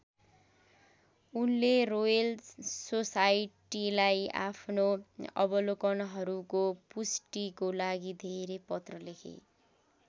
उनले रोयल सोसाइटिलाई आफ्नो अवलोकनहरूको पुष्टिको लागि धेरै पत्र लेखे।